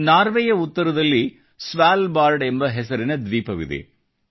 ನಾರ್ವೆಯ ಉತ್ತರದಲ್ಲಿ Svalbard ಎಂಬ ಹೆಸರಿನ ದ್ವೀಪವಿದೆ